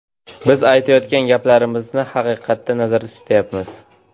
Biz aytayotgan gaplarimizni haqiqatda nazarda tutayapmiz.